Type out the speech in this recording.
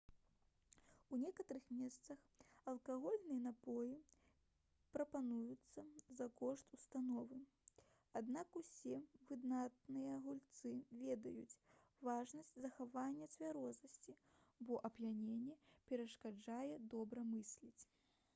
у некаторых месцах алкагольныя напоі прапаноўваюцца за кошт установы аднак усе выдатныя гульцы ведаюць важнасць захавання цвярозасці бо ап'яненне перашкаджае добра мысліць